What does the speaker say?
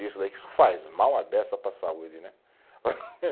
Isso daí que isso faz mal a beça para a saúde, né?